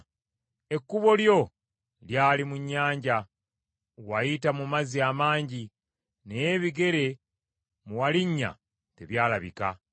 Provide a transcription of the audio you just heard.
Ekkubo lyo lyali mu nnyanja; wayita mu mazzi amangi, naye ebigere mwe walinnya tebyalabika.